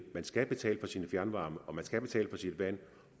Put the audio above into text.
man skal betale for sin fjernvarme og man skal betale for sit vand